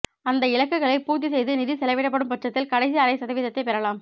அந்த இலக்குகளை பூர்த்தி செய்து நிதி செலவிடப்படும் பட்சத்தில் கடைசி அரை சதவீதத்தை பெறலாம்